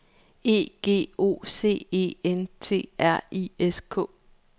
E G O C E N T R I S K